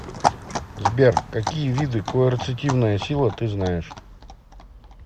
сбер какие виды коэрцитивная сила ты знаешь